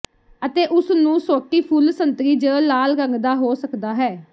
ਅਤੇ ਉਸ ਨੂੰ ਸੋਟੀ ਫੁੱਲ ਸੰਤਰੀ ਜ ਲਾਲ ਰੰਗ ਦਾ ਹੋ ਸਕਦਾ ਹੈ